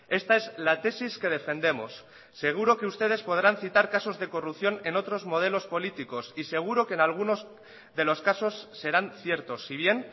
esta es la tesis que defendemos seguro que ustedes podrán citar casos de corrupción en otros modelos políticos y seguro que en algunos de los casos serán ciertos si bien